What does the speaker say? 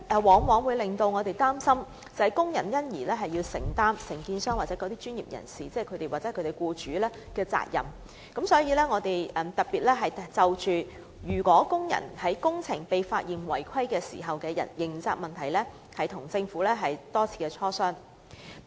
我們一直擔心工人因而須承擔承建商、專業人士或其僱主的責任，因此特別就工人在工程被發現違規時的刑責問題多次與政府進行磋商。